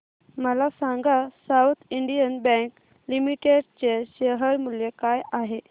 मला सांगा south Indian bank limited चे शेअर मूल्य काय आहे